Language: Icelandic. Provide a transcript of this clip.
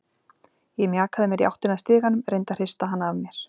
Ég mjakaði mér í áttina að stiganum, reyndi að hrista hana af mér.